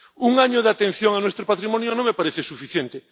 Un año de atención a nuestro patrimonio no me parece suficiente.